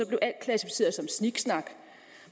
blev alt klassificeret som sniksnak